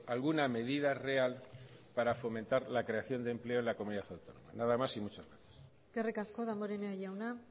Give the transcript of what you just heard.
alguna medida real para fomentar la creación de empleo en la comunidad autónoma nada más y muchas gracias eskerrik asko damborenea jauna